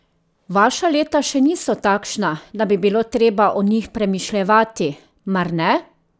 Vaša leta še niso takšna, da bi bilo treba o njih premišljevati, mar ne?